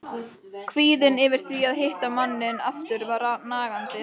Kvíðinn yfir því að hitta manninn aftur var nagandi.